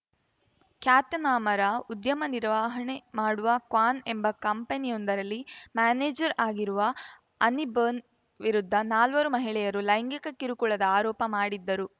ಖ್ಯಾತನಾಮರ ಉದ್ಯಮ ನಿರ್ವಹಣೆ ಮಾಡುವ ಕ್ವಾನ್‌ ಎಂಬ ಕಂಪನಿಯೊಂದರಲ್ಲಿ ಮ್ಯಾನೇಜರ್‌ ಆಗಿರುವ ಅನಿಬನ್‌ ವಿರುದ್ಧ ನಾಲ್ವರು ಮಹಿಳೆಯರು ಲೈಂಗಿಕ ಕಿರುಕುಳದ ಆರೋಪ ಮಾಡಿದ್ದರು